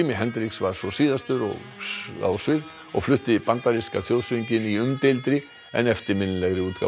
Hendrix var svo síðastur á svið og flutti bandaríska þjóðsönginn í umdeildri en eftirminnilegri útgáfu